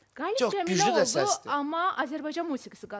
Qalib cəmləndi, amma Azərbaycan musiqisi qazandı.